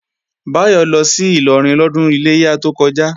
Báyọ̀ lọ sí Ìlọrin lọ́dún Iléyá tó kọjá